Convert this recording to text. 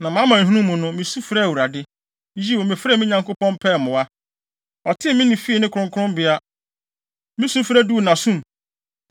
“Na mʼamanehunu mu no, misu frɛɛ Awurade. Yiw, mefrɛɛ me Nyankopɔn pɛɛ mmoa. Ɔtee me nne fii ne kronkronbea. Me sufrɛ duu nʼasom.